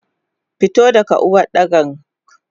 Fito daga Uwardakan!